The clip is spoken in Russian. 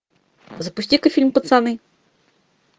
запусти ка фильм пацаны